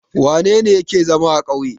Wane ne yake zama a ƙauye?